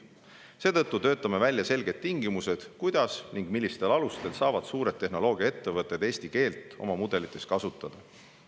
Seetõttu töötame välja selged tingimused, kuidas ja millistel alustel saavad suured tehnoloogiaettevõtted eesti keelt oma mudelites kasutada.